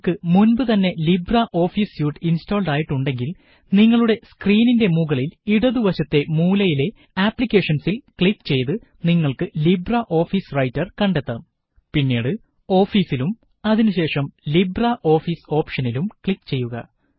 നിങ്ങള്ക്ക് മുന്പ് തന്നെ ലിബ്രെ ഓഫീസ് സ്യൂട്ട് ഇന്സ്റ്റാള്ഡ് ആയി ഉണ്ടെങ്കില് നിങ്ങളുടെ സ്ക്രീനിന്റെ മുകളില് ഇടതു വശത്തെ മൂലയിലെ ആപ്ലിക്കേഷന്സില് ക്ലിക്ക് ചെയ്ത് നിങ്ങള്ക്ക് ലിബ്രെ ഓഫീസ് റൈറ്റര് കണ്ടെത്താം പിന്നീട് ഓഫീസ് ലും അതിനുശേഷം ലിബ്രെ ഓഫീസ് ഓപ്ഷനിലും ക്ലിക്ക് ചെയ്യുക